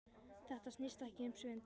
Þetta snýst ekki um svindl.